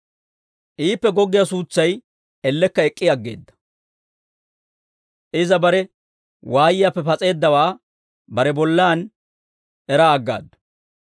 Iippe goggiyaa suutsay ellekka ek'k'i aggeedda; iza bare waayiyaappe pas'eeddawaa bare bollaan eraa aggaaddu.